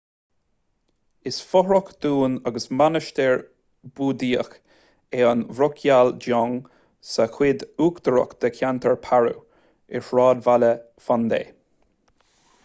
is fothrach dúin agus mainistir búdaíoch é an drukgyal dzong sa chuid uachtarach de cheantar paro i sráidbhaile phondey